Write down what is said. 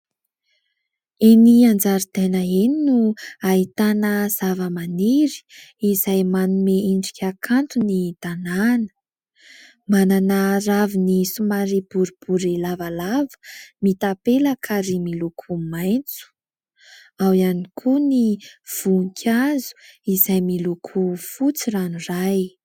Eny an-jaridaina eny no ahitana zava-maniry izay manome endrika kanto ny tanàna. Manana raviny somary boribory lavalava mitapelaka ary miloko maitso. Ao ihany koa ny voninkazo izay miloko fotsy ranoray.